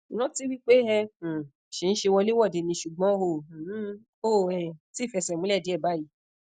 ranti wipe e um si nse wolewode ni sugbon o um o um ti fese mule die bayi